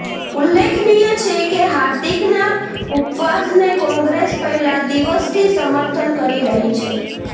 ઉલ્લેખનીય છે કે હાર્દિકના ઉપવાસને કોંગ્રેસ પહેલા દિવસથી સમર્થન કરી રહી છે